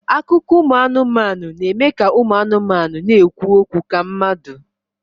Akụkọ ụmụ anụmanụ na-eme ka ụmụ anụmanụ na-ekwu okwu ka mmadụ